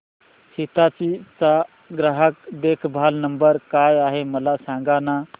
हिताची चा ग्राहक देखभाल नंबर काय आहे मला सांगाना